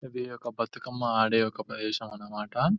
ఇది ఒక బతుకమ్మ ఆడే ఒక ప్రదేశం అన్నమాట --